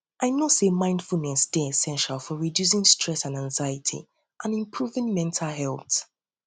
i know say mindfulness dey essential for reducing stress and anxiety and improving mental health